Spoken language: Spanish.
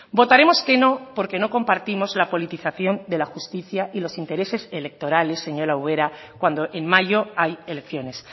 votaremos que no porque no compartimos la politización de la justicia y los intereses electorales señora ubera cuando en mayo hay elecciones